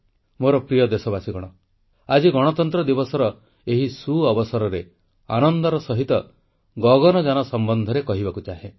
ମୋର ପ୍ରିୟ ଦେଶବାସୀ ଆଜି ଗଣତନ୍ତ୍ର ଦିବସର ଏହି ସୁଅବସରରେ ଆନନ୍ଦର ସହିତ ଗଗନଯାନ ସମ୍ବନ୍ଧରେ କହିବାକୁ ଚାହେଁ